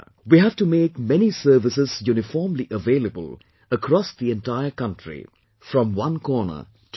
We have to make many services uniformly available across the entire country from one corner to another